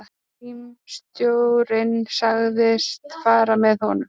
Símstjórinn sagðist fara með honum.